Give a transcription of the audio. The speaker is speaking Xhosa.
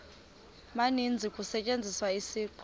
maninzi kusetyenziswa isiqu